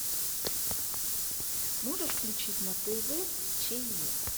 можешь включить на тв че